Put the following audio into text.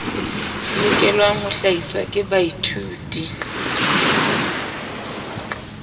lokelang ho hlahiswa ke baithuti